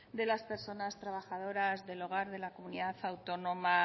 de las personas trabajadoras del hogar de la comunidad autónoma